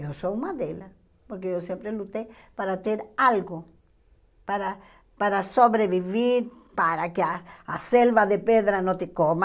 Eu sou uma delas, porque eu sempre lutei para ter algo, para para sobreviver, para que a a selva de pedra não te coma,